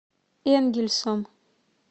энгельсом